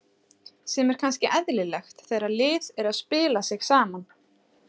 Sem er kannski eðlilegt þegar lið er að spila sig saman.